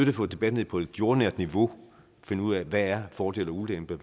at få debatten ned på et jordnært niveau og finde ud af hvad der er fordele og ulemper